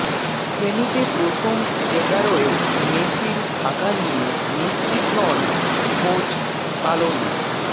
সেমিতে প্রথম এগারোয় মেসির থাকা নিয়ে নিশ্চিত নন কোচ স্কালোনি